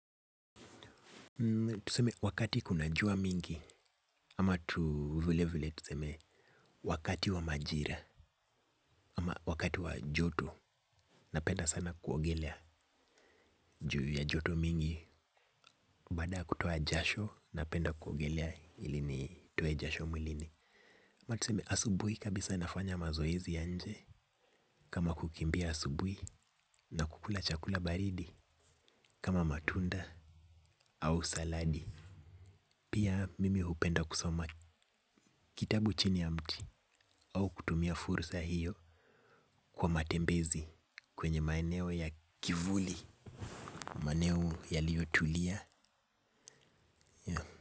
Tuseme wakati kuna jua mingi ama tu vile vile tuseme wakati wa majira ama wakati wa joto napenda sana kuogelea juu ya joto mingi. Baada ya kutoa jasho napenda kuogelea ili nitoe jasho mwilini. Ama tuseme asubuhi kabisa nafanya mazoezi ya nje kama kukimbia asubui na kukula chakula baridi kama matunda au saladi. Pia mimi hupenda kusoma kitabu chini ya mti au kutumia fursa hiyo kwa matembezi kwenye maeneo ya kivuli maeneo yialiyotulia.